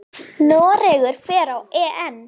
Noregur fer á EM.